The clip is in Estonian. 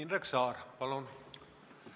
Indrek Saar, palun!